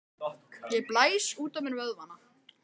Ég blæs út á mér vöðvana.